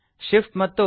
Shift ಮತ್ತು160